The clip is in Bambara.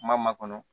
Kuma ma kɔnɔ